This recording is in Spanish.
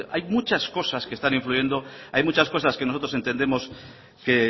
hay muchas cosas que están influyendo hay muchas cosas que nosotros entendemos que